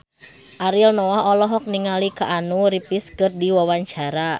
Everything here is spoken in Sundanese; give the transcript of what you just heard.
Ariel Noah olohok ningali Keanu Reeves keur diwawancara